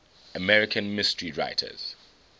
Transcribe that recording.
american mystery writers